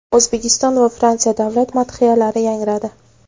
O‘zbekiston va Fransiya davlat madhiyalari yangradi.